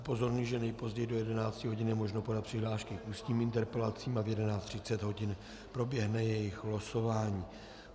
Upozorňuji, že nejpozději do 11 hodin je možno podat přihlášky k ústním interpelacím a v 11.30 hodin proběhne jejich losování.